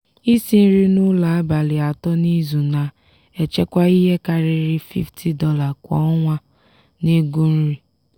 isi nri n'ụlọ abalị atọ n'izu na-echekwa ihe karịrị $50 kwa ọnwa n'ego nri.